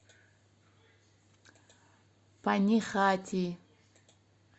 панихати